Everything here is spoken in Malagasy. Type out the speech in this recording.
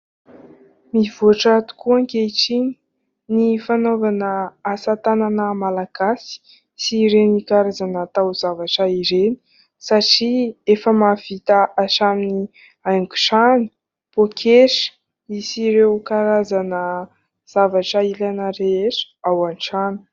Mivoatra tokoa ankehitriny ny fanaovana asatanana Malagasy sy ireny karazana taozavatra ireny, satria efa mahavita hatramin'ny haingon-trano, pôketra sy ireo karazana zavatra ilaina rehetra ao an-trano.